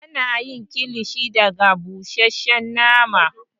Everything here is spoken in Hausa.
Ana yi kilishi daga busheshshen nama